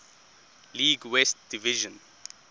league west division